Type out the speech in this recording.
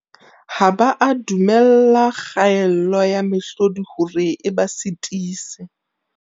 Ha ba a du-mella kgaello ya mehlodi hore e ba sitise.